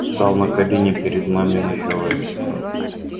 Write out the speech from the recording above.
стал на колени перед маминой кроватью